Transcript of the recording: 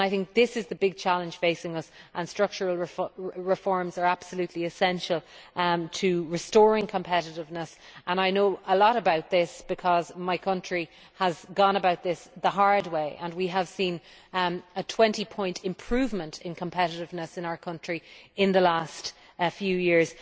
This is the big challenge facing us, and structural reforms are absolutely essential to restoring competitiveness. I know a lot about this because my country has gone about this the hard way and we have seen a 20 point improvement in competitiveness in our country in the last few years.